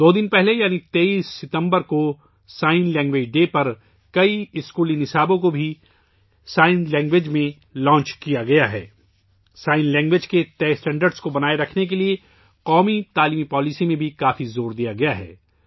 دو دن پہلے یعنی 23 ستمبر کو اشاروں کی زبان کے دن کے موقع پر بہت سے اسکولی کورسز بھی اشاروں کی زبان میں شروع کئے گئے ہیں، قومی تعلیمی پالیسی میں بھی اشارے کی زبان کے مقررہ معیار کو برقرار رکھنے پر بہت زور دیا گیا ہے